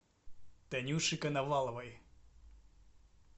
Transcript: танюши коноваловой